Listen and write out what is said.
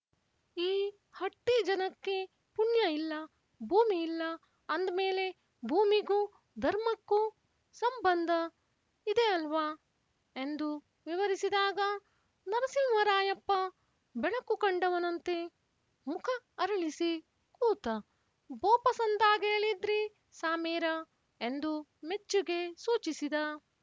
ಈ ಹಟ್ಟಿ ಜನಕ್ಕೆ ಪುಣ್ಯ ಇಲ್ಲ ಭೂಮಿ ಇಲ್ಲ ಅಂದ್‍ಮೇಲೆ ಭೂಮಿಗೂ ಧರ್ಮಕ್ಕೂ ಸಂಬಂಧ ಇದೆ ಅಲ್ವಾ ಎಂದು ವಿವರಿಸಿದಾಗ ನರಸಿಂಹರಾಯಪ್ಪ ಬೆಳಕು ಕಂಡವನಂತೆ ಮುಖ ಅರಳಿಸಿ ಕೂತ ಬೋಪಸಂದಾಗೇಳಿದ್ರಿ ಸಾಮೇರ ಎಂದು ಮೆಚ್ಚುಗೆ ಸೂಚಿಸಿದ